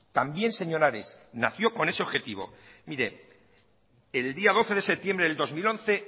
también señor ares nació con ese objetivo el día doce de septiembre de dos mil once